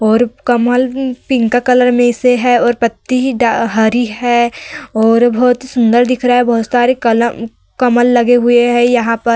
और कमल pink colour में से है और पत्ती हरी है और बहोत सुंदर दिख रहा है बहोत सारे कलम कमल लगे हुए है यहाँ पर।